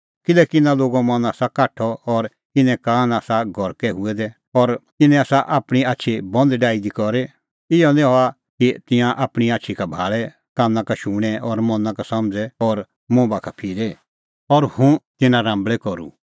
किल्हैकि इना लोगो मन आसा काठअ और इने कान आसा गरकै हुऐ दै इनै आसा आपणीं आछी बंद डाही दी करी इहअ निं हआ कि तिंयां आपणीं आछी का भाल़े काना का शुणें और मना का समझ़े और मुंह बाखा फिरे और हुंह तिन्नां राम्बल़ै करूं